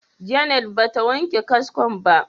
Janet ba ta wanke kaskon ba.